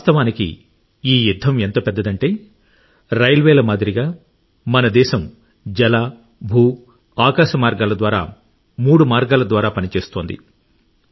వాస్తవానికి ఈ యుద్ధం ఎంత పెద్దదంటే రైల్వేల మాదిరిగా మన దేశం జల భూ ఆకాశ మార్గాల ద్వారా మూడు మార్గాల ద్వారా పనిచేస్తోంది